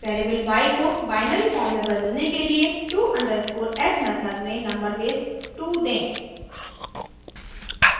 variable y को binary form में बदलने के लिए to_s मेथड में नंबर बेस 2 दें